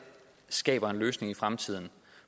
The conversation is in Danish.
skaber en løsning i fremtiden